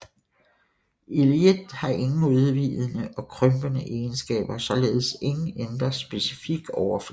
Illit har ingen udvidende og krympende egenskaber og således ingen indre specifik overflade